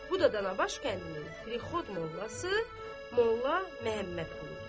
Bu da dana baş kəndinin prixod mollası Molla Məmməd quludur.